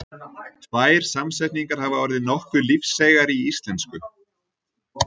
Tvær samsetningar hafa orðið nokkuð lífseigar í íslensku.